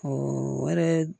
wɛrɛ